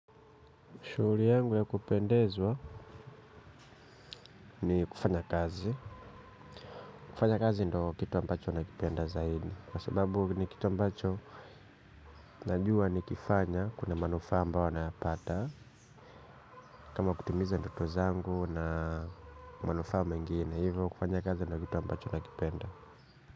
Shuguri yangu ya kupendezwa ni kufanya kazi. Kufanya kazi ndo kitu ambacho nakipenda zaidi. Kwa sababu ni kitu ambacho najuwa nikifanya kuna manufaa ambayo nayapata. Kama kutimiza ndoto zangu na manufaa mengine. Hivyo kufanya kazi ndo kitu ambacho nakipenda.